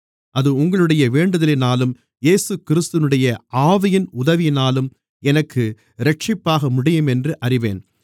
அது உங்களுடைய வேண்டுதலினாலும் இயேசுகிறிஸ்துவினுடைய ஆவியின் உதவியினாலும் எனக்கு இரட்சிப்பாக முடியும் என்று அறிவேன்